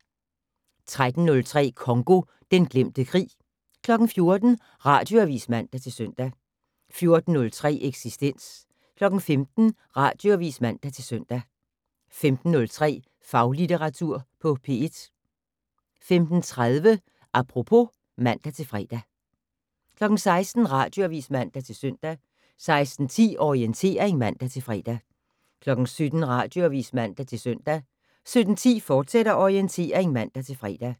13:03: Congo - den glemte krig 14:00: Radioavis (man-søn) 14:03: Eksistens 15:00: Radioavis (man-søn) 15:03: Faglitteratur på P1 15:30: Apropos (man-fre) 16:00: Radioavis (man-søn) 16:10: Orientering (man-fre) 17:00: Radioavis (man-søn) 17:10: Orientering, fortsat (man-fre)